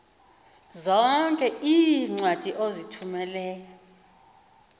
zonke iincwadi ozithumela